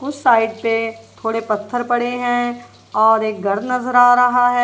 उस साइड पे थोड़े पत्थर पड़े है और एक घर नजर आ रहा है।